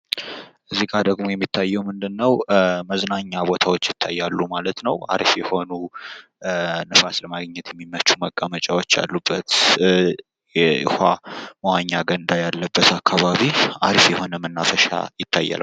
እዚህ ጋር ደግሞ የሚታየው ምንድነው መዝናኛ ቦታዎች ይታያሉ ማለት ነው። አሪፍ የሆኑ ንፋስ ለማግኘት የሚመቹ መቀመጫዎች ያሉበት ውሀ መዋኛ ገንዳ ያለበት አካባቢ አሪፍ የሆነ መናፈሻ ይታያል።